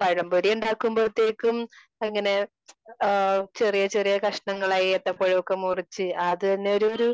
പഴം പൊരി ഉണ്ടാകുമ്പോളെത്തേക്കും അങ്ങനെ ആ ചെറിയ ചെറിയ കഷണങ്ങളായി ഏത്തപ്പഴമൊക്കെ മുറിച്ച് അത് തന്നെ ഒരു ഒരു